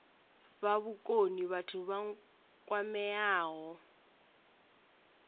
fha vhukoni vhathu vha kwameaho